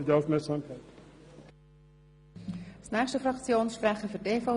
Ich habe es heute Morgen bereits erwähnt: